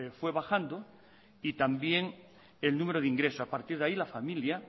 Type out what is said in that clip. fue bajando y también el número de ingresos a partir de ahí la familia